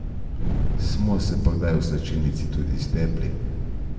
Smo se pa kdaj v slačilnici tudi stepli.